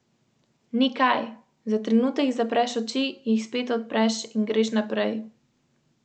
Svet varuha, ki se je v sredo sestal na ustanovni seji, se je najprej lotil poslovnika.